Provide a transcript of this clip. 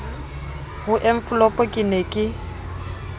ho enfolopo ke ne ke